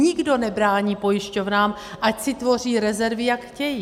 Nikdo nebrání pojišťovnám, ať si tvoří rezervy, jak chtějí.